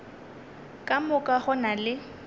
ka moka go na le